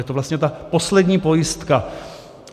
Je to vlastně ta poslední pojistka.